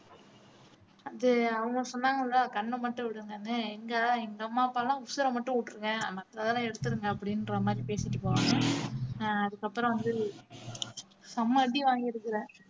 அது அவங்க சொன்னாங்கல்ல கண்ணை மட்டும் விடுங்கன்னு எங்க எங்க அம்மா அப்பா எல்லாம் உசுரை மட்டும் விட்டிருங்க மத்ததெல்லாம் எடுத்திருங்க அப்படின்ற மாதிரி பேசிட்டு போவாங்க ஆஹ் அதுக்கு அப்புறம் வந்து செம அடி வாங்கிருக்கிறேன்